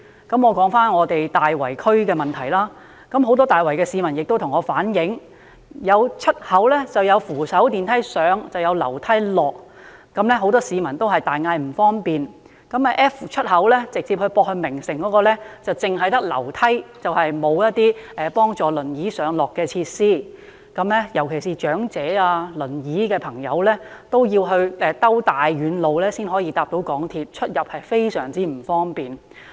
我說回所屬的大圍區問題，很多大圍市民向我反映，有出口設有扶手電梯上，但卻要下樓梯，令很多市民大呼不便，而直接接駁名城的 F 出口亦只有樓梯，卻欠缺幫助輪椅上落的設施，長者和乘坐輪椅的朋友要繞遠路才能夠乘搭港鐵，出入非常不便。